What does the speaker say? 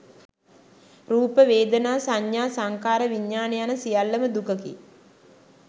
රූප, වේදනා, සඤ්ඤා, සංඛාර, විඤ්ඤාණ යන සියල්ලම දුකකි.